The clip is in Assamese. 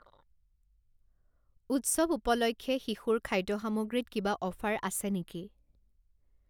উৎসৱ উপলক্ষে শিশুৰ খাদ্য সামগ্ৰীত কিবা অফাৰ আছে নেকি?